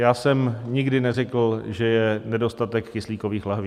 Já jsem nikdy neřekl, že je nedostatek kyslíkových lahví.